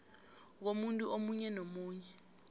komuntu omunye nomunye